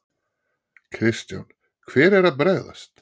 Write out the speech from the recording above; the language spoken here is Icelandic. Kristján: Hver er að bregðast?